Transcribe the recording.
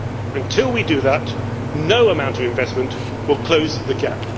Until we do that, no amount of investment will close the gap.